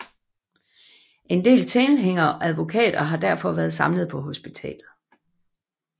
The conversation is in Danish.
En del tilhængere og advokater har derfor været samlet på hospitalet